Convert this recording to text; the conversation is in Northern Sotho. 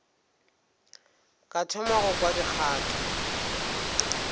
ka thoma go kwa dikgato